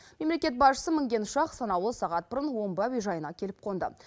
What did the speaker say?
мемлекет басшысы мінген ұшақ санаулы сағат бұрын омбы әуежайына келіп қонды